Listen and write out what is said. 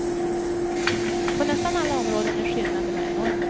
På nästan alla områden är skillnaderna enorma.